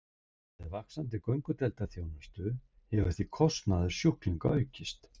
Með vaxandi göngudeildarþjónustu hefur því kostnaður sjúklinga aukist.